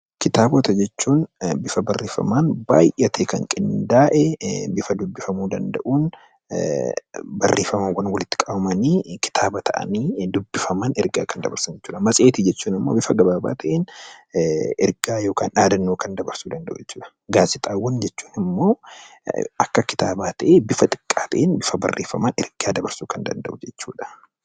Kitaabota jechuun bifa barreeffaman baayy'atee kan qindaa'e, bifa dubbifamuu danda'uun barreeffamaawwan walitti qabamanii kitaaba ta'anii dubbifaman ergaa dabarsan jechuudha. Matseetiin immoo bifa gabaabaa ta'een ergaa yookaan dhaadannoo dabarsuu danda'u jechuudha. Gaazexaawwan jechuun immoo akka kitaabaa ta'ee bifa xiqqaan bifa barreeffamaan ergaa dabarsuu kan danda'u jechuudha.